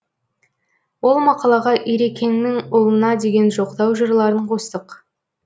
ол мақалаға ирекеңнің ұлына деген жоқтау жырларын қостық